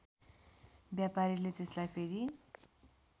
व्यापारीले त्यसलाई फेरि